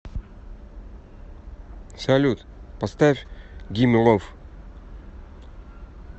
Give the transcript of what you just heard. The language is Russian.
салют поставь гимме лов